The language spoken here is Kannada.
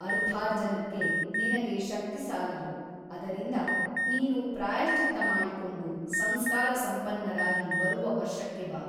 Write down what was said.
ಅರ್ಥಾರ್ಜನಕ್ಕೆ ನಿನಗೆ ಶಕ್ತಿಸಾಲದು ಅದರಿಂದ ನೀನು ಪ್ರಾಯಶ್ಚಿತ್ತ ಮಾಡಿಕೊಂಡು ಸಂಸ್ಕಾರಸಂಪನ್ನರಾಗಿ ಬರುವ ವರ್ಷಕ್ಕೆ ಬಾ.